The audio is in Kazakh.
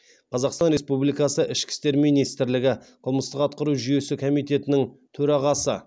қазақстан республикасы ішкі істер министрлігі қылмыстық атқару жүйесі комитетінің төрағасы